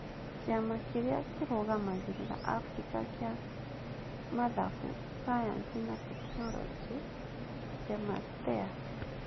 Kĩama Kĩrĩa Kĩrũgamagĩrĩra Afrika kĩa Mathematics, Sayansi, na Teknoroji (CEMASTEA)